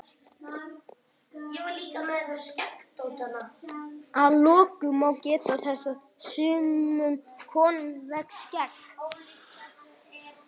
Að lokum má geta þess að sumum konum vex skegg.